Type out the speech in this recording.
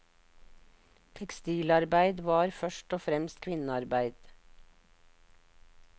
Tekstilarbeid var først og fremst kvinnearbeid.